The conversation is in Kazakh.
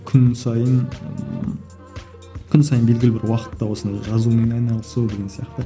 күн сайын күн сайын белгілі бір уақытта осыны жазумен айналысу деген сияқты